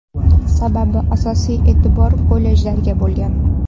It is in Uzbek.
Sababi asosiy e’tibor kollejlarga bo‘lgan.